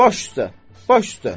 Baş üstə, baş üstə.